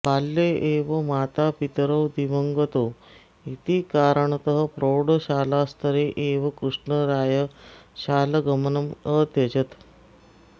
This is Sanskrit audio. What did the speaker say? बाल्ये एव मातापितरौ दिवङगतौ इति कारणतः प्रौढशालास्तरे एव कृष्णरायः शालगमनम् अत्यजत्